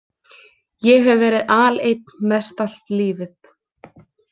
Ég hef verið aleinn mestallt lífið.